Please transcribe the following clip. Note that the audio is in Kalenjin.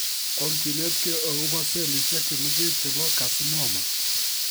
Onginetkei agobo sellishek chemengech chebo carcinoma